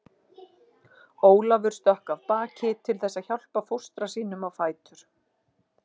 Ólafur stökk af baki til þess að hjálpa fóstra sínum á fætur.